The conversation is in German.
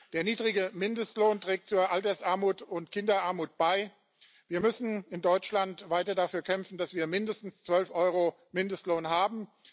Der niedrige Mindestlohn trägt zu Altersarmut und Kinderarmut bei. Wir müssen in Deutschland weiter dafür kämpfen, dass wir mindestens 12 EUR Mindestlohn haben.